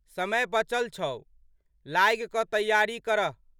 समय बचल छौ। लागिकऽ तैयारी करह।